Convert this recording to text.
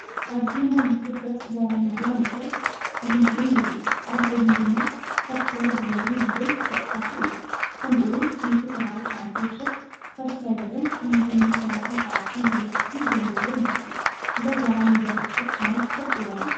ኣብዚ ናይ ዩቱብ ገጽ “ዛራ ሚድያ ኔትወርክ - ዝምኤን” የርኢ። ኣብ ጎድኑ ድማ “ሳብስክራይብ ግበሩ!” ዝበል ዝተጻሕፉ እዮም። ከምኡ ውን 179 ሽሕ ሳብስክራይበርን 837 ቪድዮታትን ዘለዎ ይመስል። እዛ ዛራ ሚድያ ኔትወርክ ቻነል ትፈልጥዋ ዶ?